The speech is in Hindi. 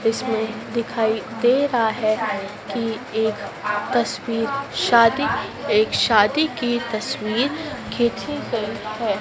इसमें दिखाई दे रहा है कि एक तस्वीर शादी एक शादी की तस्वीर खींची गई है।